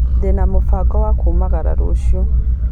Ndĩna mũbango wa kumagara rũciũ.